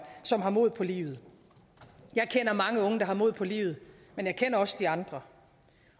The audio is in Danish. som har mod på livet jeg kender mange unge der har mod på livet men jeg kender også de andre